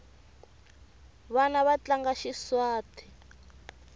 vana va tlanga xizwhate